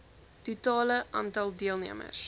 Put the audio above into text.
totale aantal deelnemers